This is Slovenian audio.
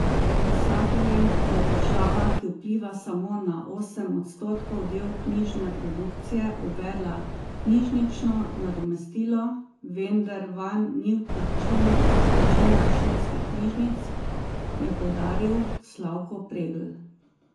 Pisateljem je država, ki vpliva samo na osem odstotkov del knjižne produkcije, uvedla knjižnično nadomestilo, vendar vanj ni vključenih večina šolskih knjižnic, je poudaril Slavko Pregl.